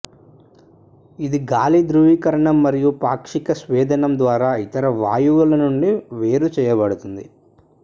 ఇది గాలి ద్రవీకరణం మరియు పాక్షిక స్వేదనం ద్వారా ఇతర వాయువుల నుండి వేరు చేయబడుతుంది